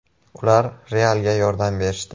Ular “Real”ga yordam berishdi.